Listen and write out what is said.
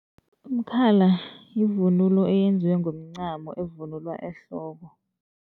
Umkhala yivunulo eyenziwe ngomncamo evunulwa ehloko.